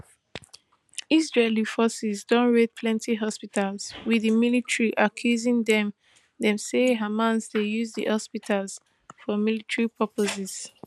israeli forces don raid plenti hospitals wit di military accusing dem dem say hamas dey use di hospitals for miltary purposes